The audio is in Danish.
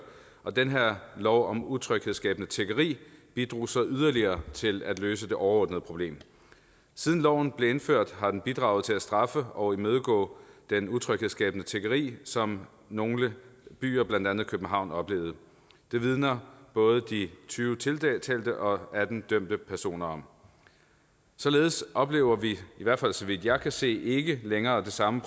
og den her lov om utryghedsskabende tiggeri bidrog så yderligere til at løse det overordnede problem siden loven blev indført har den bidraget til at straffe og imødegå det utryghedsskabende tiggeri som nogle byer blandt andet københavn oplevede det vidner både de tyve tiltalte og atten dømte personer om således oplever vi i hvert fald så vidt jeg kan se ikke længere i samme